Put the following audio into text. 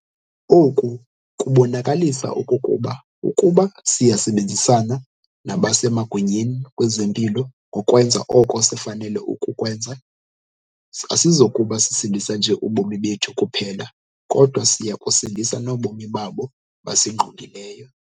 Oku kubonakalisa okokuba ukuba siyasebenzisana nabasemagunyeni kwezempilo ngokwenza oko sifanele ukukwenza, asizokuba sisindisa nje ubomi bethu kuphela kodwa siya kusindisa nobomi babo basingqongileyo.